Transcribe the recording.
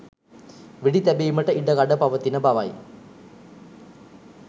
වෙඩි තැබීමට ඉඩ කඩ පවතින බවයි